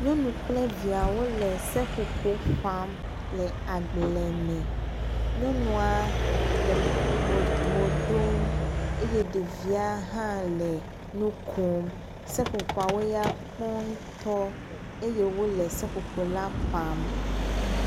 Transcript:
nyɔnu kple viawo le seƒoƒo ƒam le agble me nyɔnua le mòɖom eye ɖevia hã le nukom seƒoƒoawo nyakpɔ ŋtɔ eye wóle seƒoƒo la ƒam